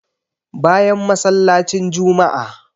Bayan masallacin juma'a